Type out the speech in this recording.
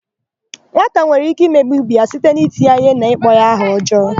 Nwata nwere íké imegbu íbé ya site n'iti ya íhé na ịkpọ ya aha ọjọọ.